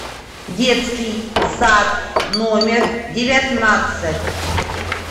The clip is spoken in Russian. детский сад номер девятнадцать